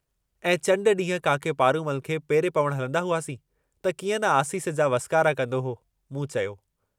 ऐं चण्ड डींहुं काके पारूमल खे पेरे पवण हलंदा हुआसीं त की अं न आसीस जा वसकारा कन्दो हो।